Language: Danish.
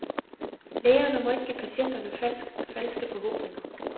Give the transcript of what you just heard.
Lægerne må ikke give patienterne falske forhåbninger.